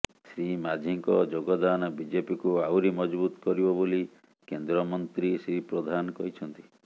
ଶ୍ରୀ ମାଝୀଙ୍କ ଯୋଗଦାନ ବିଜେପିକୁ ଆହୁରି ମଜବୁତ୍ କରିବ ବୋଲି କେନ୍ଦ୍ରମନ୍ତ୍ରୀ ଶ୍ରୀ ପ୍ରଧାନ କହିଛନ୍ତି